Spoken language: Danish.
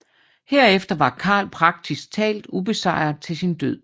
Herefter var Karl praktisk talt ubesejret til sin død